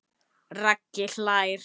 Raggi hlær.